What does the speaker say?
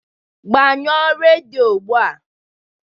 Gbanyụọ redio ugbu a